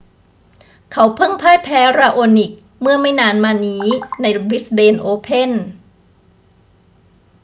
เขาเพิ่งพ่ายแพ้ราโอนิกเมื่อไม่นานมานี้ในบริสเบนโอเพ่น